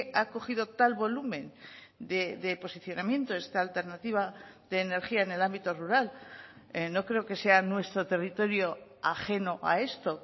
ha cogido tal volumen de posicionamiento esta alternativa de energía en el ámbito rural no creo que sea nuestro territorio ajeno a esto